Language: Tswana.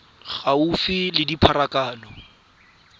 gaufi nao ya tsa pharakano